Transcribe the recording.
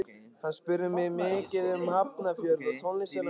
Hann spurði mig mikið um Hafnarfjörð og tónlistina á Íslandi.